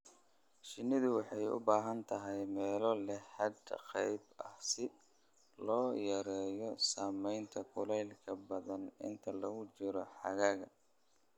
Shinnidu waxay u baahan tahay meelo leh hadh qayb ah si loo yareeyo saamaynta kulaylka ba'an inta lagu jiro xagaaga.